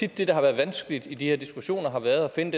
at det der har været vanskeligt i de her diskussioner har været at finde